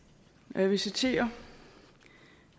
jeg vil citere